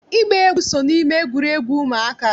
Ịgba egwu so n'ime egwuregwu ụmụaka